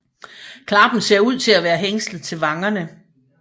Klappen ser ud til at være hængslet til vangerne